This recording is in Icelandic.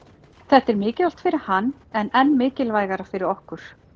Þetta er mikilvægt fyrir hann en enn mikilvægara fyrir okkur